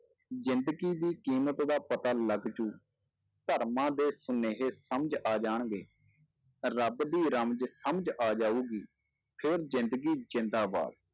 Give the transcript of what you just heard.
ਜ਼ਿੰਦਗੀ ਦੀ ਕੀਮਤ ਦਾ ਪਤਾ ਲੱਗ ਜਾਊ, ਧਰਮਾਂ ਦੇ ਸੁਨੇਹੇ ਸਮਝ ਆ ਜਾਣਗੇ, ਰੱਬ ਦੀ ਰਮਜ ਸਮਝ ਆ ਜਾਊਗੀ, ਫਿਰ ਜ਼ਿੰਦਗੀ ਜ਼ਿੰਦਾਬਾਦ।